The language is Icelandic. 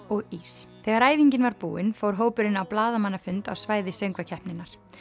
og ís þegar æfingin var búin fór hópurinn á blaðamannafund á svæði söngvakeppninnar